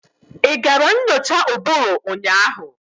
Ị gara nyocha ụbụrụ ụnyaahụ?